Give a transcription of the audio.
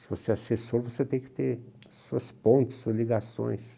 Se você é assessor, você tem que ter suas pontes, suas ligações.